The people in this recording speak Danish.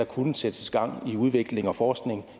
kunne sættes gang i af udvikling og forskning